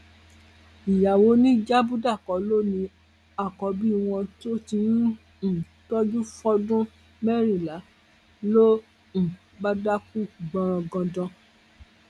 ìyàwó ni yabuda kọ ló ní àkọbí wọn tó ti ń um tọjú fọdún mẹrìnlá ló um bá dákú gbọnrangandan